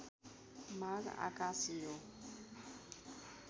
माग आकाशियो